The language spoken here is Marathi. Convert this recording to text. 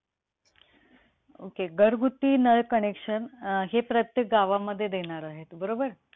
NCI अणुऊर्जा पासून विद्धूनिर्मिती करण्यासाठी